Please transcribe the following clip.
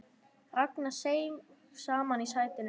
Ragnar seig saman í sætinu.